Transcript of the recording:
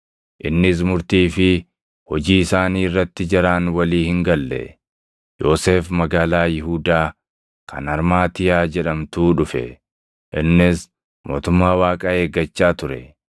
innis murtii fi hojii isaanii irratti jaraan walii hin galle. Yoosef magaalaa Yihuudaa kan Armaatiyaa jedhamtuu dhufe; innis mootummaa Waaqaa eeggachaa ture.